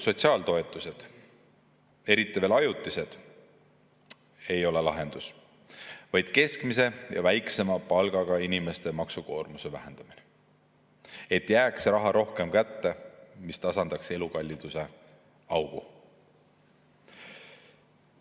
Sotsiaaltoetused, eriti veel ajutised, ei ole peaasjalikult lahendus, lahendus on keskmise ja väiksema palgaga inimeste maksukoormuse vähendamine, et jääks rohkem raha kätte, mis tasandaks elukalliduse augu.